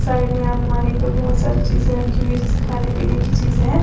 Side में अलमारी पे बहोत सारी चीजें रखी हुई जैसे खाने पीने की चीजें है।